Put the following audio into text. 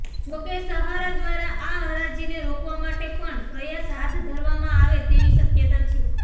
જોકે સહારા દ્વારા આ હરાજીને રોકવા માટે પણ પ્રયાસ હાથ ધરવામાં આવે તેવી શક્યતા છે